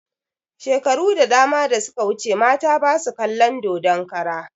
Shekaru da dama da suka wuce mata basu kalon dodon kara